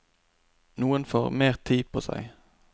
Noen får noe mer tid på seg.